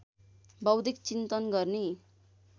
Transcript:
बौद्धिक चिन्तन गर्ने